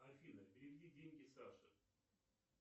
афина переведи деньги саше